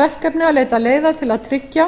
verkefni að leita leiða til að tryggja